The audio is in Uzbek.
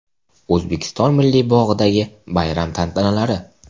O‘zbekiston Milliy bog‘idagi bayram tantanalari.